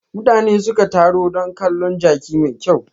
Mutane suka taro don kalon jaki mai kyau.